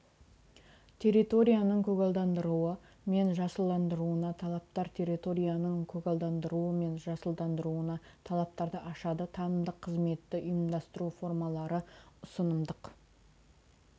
территорияның көгалдандыруы мен жасылдандыруына талаптар территорияның көгалдандыруы мен жасылдандыруына талаптарды ашады танымдық қызметті ұйымдастыру формалары ұсынымдық